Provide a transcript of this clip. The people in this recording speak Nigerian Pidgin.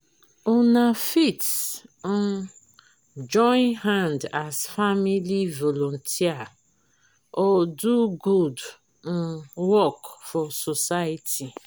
una fit um join hand as family volunteer or do good um work for society